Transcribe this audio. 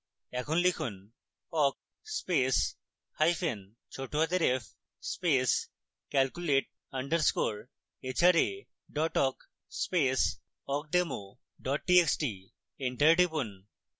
এখন লিখুন: awk space hyphen ছোটহাতের f space calculate _ hra awk space awkdemo txt enter টিপুন